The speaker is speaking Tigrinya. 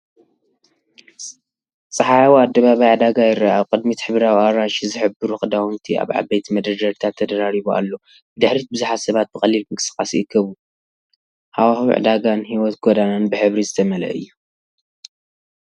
ጸሓያዊ ኣደባባይ ዕዳጋ ይርአ። ኣብ ቅድሚት ሕብራዊ ኣራንሺ ዝሕብሩ ክዳውንቲ ኣብ ዓበይቲ መደርደሪታት ተደራሪቡ ኣሎ። ብድሕሪት ብዙሓት ሰባት ብቐሊል ምንቅስቓስ ይእከቡ፤ ሃዋህው ዕዳጋን ህይወት ጎደናን ብሕብሪ ዝተመልአ እዩ።